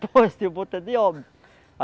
o boto é de Óbidos.